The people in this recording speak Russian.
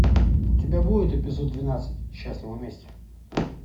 у тебя будет эпизод двенадцать счастливы вместе